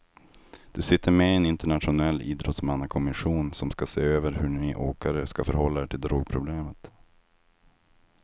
Du sitter med i en internationell idrottsmannakommission som ska se över hur ni åkare ska förhålla er till drogproblemet.